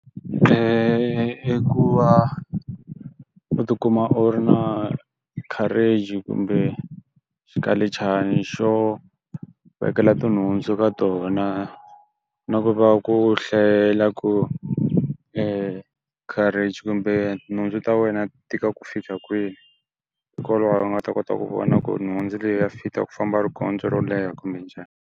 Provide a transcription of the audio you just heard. i ku va u tikuma u ri na carriage kumbe swikalichana xo vekela tinhundzu ka tona na ku va ku hlayela ku carriage kumbe nhundzu ta wena tika ku fika kwihi hikokwalaho u nga ta kota ku vona ku nhundzu leyi ya fita ku famba riendzo ro leha kumbe njhani.